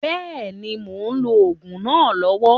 Bẹ́ẹ̀ni, mò ń lò òògùn náà lọ́wọ́